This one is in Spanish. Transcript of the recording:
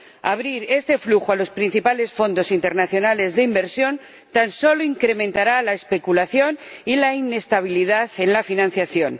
Abrir este flujo a los principales fondos internacionales de inversión tan solo incrementará la especulación y la inestabilidad en la financiación.